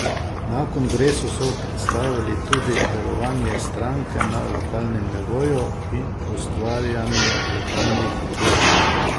Na kongresu so predstavili tudi delovanje stranke na lokalnem nivoju in ustvarjanje lokalnih odborov.